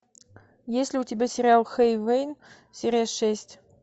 есть ли у тебя сериал хейвен серия шесть